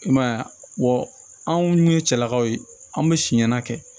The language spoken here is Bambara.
I man ye a anw ye cɛlakaw ye anw bɛ si ɲana kɛ